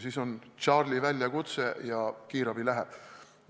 Siis on Charlie väljakutse ja kiirabi läheb.